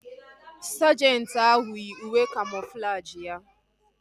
Sajenti ahu yii uwe kamoflajị ya